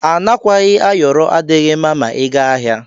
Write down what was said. Anakwayi ayọrọ adighi mma ma iga ahia.